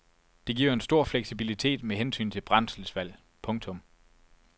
Det giver en stor fleksibilitet med hensyn til brændselsvalg. punktum